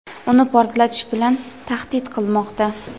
uni portlatish bilan tahdid qilmoqda.